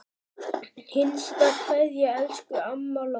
HINSTA KVEÐJA Elsku amma Lóa.